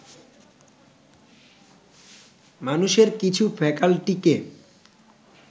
মানুষের কিছু ফ্যাকাল্টিকে